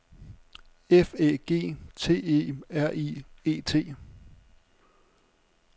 F Æ G T E R I E T